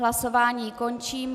Hlasování končím.